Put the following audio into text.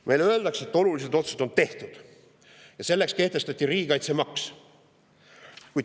Meile öeldakse, et olulised otsused on tehtud ja on kehtestatud riigikaitsemaks.